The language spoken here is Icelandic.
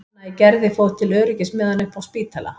Anna í Gerði fór til öryggis með hana upp á Spítala.